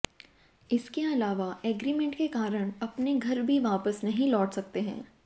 इसके अलावा एग्रीमेंट के कारण अपने घर भी वापस नहीं लौट सकते हैं